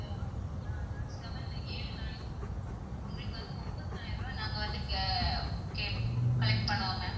seven ஏழு நாளைக்கு உங்களுக்கு வந்து ஒன்பதாயிரம் ரூபா ஆஹ் நாங்க வந்து கே~கேப்~ collect பண்ணுவோம் ma'am.